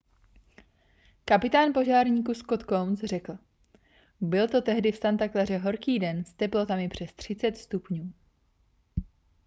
kapitán požárníků scott kouns řekl byl to tehdy v santa claře horký den s teplotami přes 30 stupňů